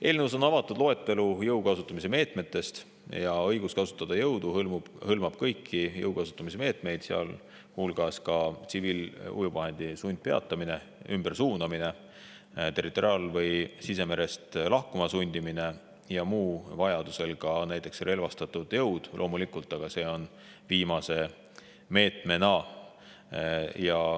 Eelnõus on avatud loetelu jõu kasutamise meetmetest ja õigus kasutada jõudu hõlmab kõiki jõu kasutamise meetmeid, sealhulgas tsiviilujuvvahendi sundpeatamine, ümbersuunamine, territoriaal- või sisemerest lahkuma sundimine ja muu, vajaduse korral näiteks relvastatud jõud, mis loomulikult on alles viimane meede.